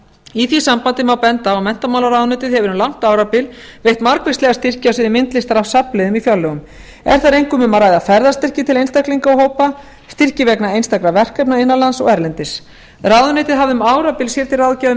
í því sambandi má benda á að menntamálaráðuneytið hefur um langt árabil veitt margvíslega styrki á sviði myndlistar af safnliðum í fjárlögum er þar einkum um að ræða ferðastyrki til einstaklinga og hópa styrki vegna einstakra verkefna innan lands og erlendis ráðuneytið hafði um árabil sér til